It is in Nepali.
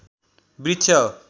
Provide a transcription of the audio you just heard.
वृक्ष हो